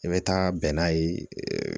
I bɛ taa bɛn n'a ye